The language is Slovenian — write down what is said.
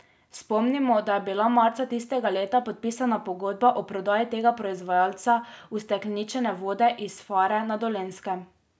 Spomnimo, da je bila marca tistega leta podpisana pogodba o prodaji tega proizvajalca ustekleničene vode iz Fare na Dolenjskem.